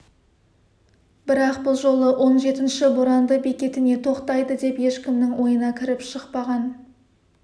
бірақ бұл жолы он жетінші боранды бекетіне тоқтайды деп ешкімнің ойына кіріп-шықпаған